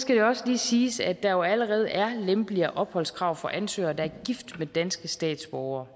skal det også lige siges at der jo allerede er lempeligere opholdskrav for ansøgere der er gift med danske statsborgere